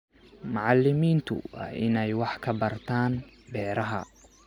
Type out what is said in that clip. Macalimiintu waa inay wax ka bartaan beeraha.